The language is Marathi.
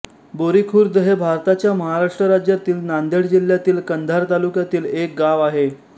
बोरीखुर्द हे भारताच्या महाराष्ट्र राज्यातील नांदेड जिल्ह्यातील कंधार तालुक्यातील एक गाव आहे